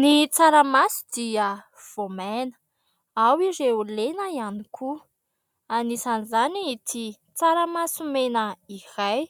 Ny tsaramaso dia voamaina ao ireo lena ihany koa, anisan'izany ity tsaramasomena iray.